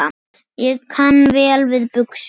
Ég kann vel við buxur.